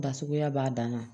Da suguya b'a dan na